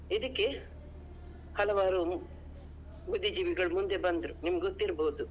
ಇದಕ್ಕೆ ಹಲವಾರು ಬುದ್ದಿ ಜೀವಿಗಳು ಮುಂದೆ ಬಂದ್ರು ನಿಮಗೆ ಗೊತ್ತಿರ್ಬೋದು.